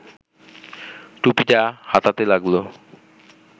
টুপিটা হাতাতে লাগল